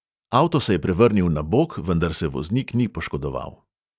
Avto se je prevrnil na bok, vendar se voznik ni poškodoval.